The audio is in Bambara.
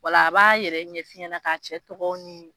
Wala a b'a yɛrɛ ɲɛf'i ɲɛna k'a cɛ tɔgɔw ni